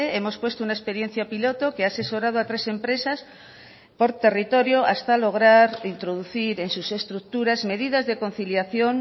hemos puesto una experiencia piloto que ha asesorado a tres empresas por territorio hasta lograr introducir en sus estructuras medidas de conciliación